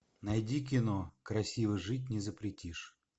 найди кино красиво жить не запретишь